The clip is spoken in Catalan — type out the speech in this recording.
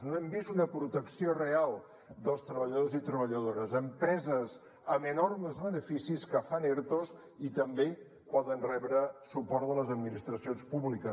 no hem vist una protecció real dels treballadors i treballadores empreses amb enormes beneficis que fan ertos i també poden rebre suport de les administracions públiques